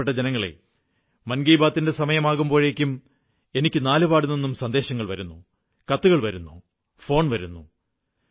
പ്രിയപ്പെട്ട ജനങ്ങളേ മൻകീ ബാത്തിന്റെ സമയമാകുമ്പോഴേക്കും എനിക്കു നാലുപാടുനിന്നും സന്ദേശങ്ങൾ വരുന്നു കത്തുകൾ വരുന്നു ഫോൺ വരുന്നു